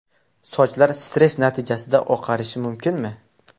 Sochlar stress natijasida oqarishi mumkinmi?.